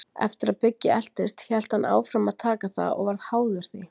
Eftir að Biggi eltist hélt hann áfram að taka það og varð háður því.